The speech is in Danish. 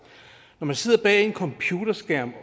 når man sidder bag en computerskærm